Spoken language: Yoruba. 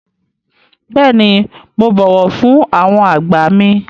Bẹ́ẹ̀ni, mo bọ̀wọ̀ fún àwọn àgbà mi.